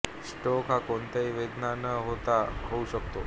stroke हा कोणत्याही वेदना न होता होऊ शकतो